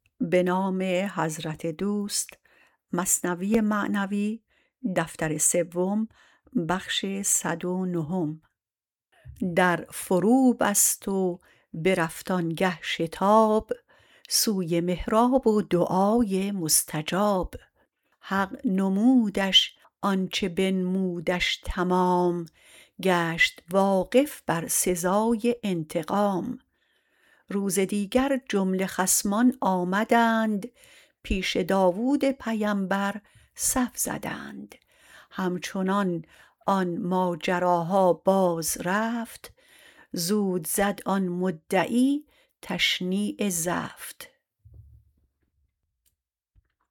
در فرو بست و برفت آنگه شتاب سوی محراب و دعای مستجاب حق نمودش آنچ بنمودش تمام گشت واقف بر سزای انتقام روز دیگر جمله خصمان آمدند پیش داود پیمبر صف زدند همچنان آن ماجراها باز رفت زود زد آن مدعی تشنیع زفت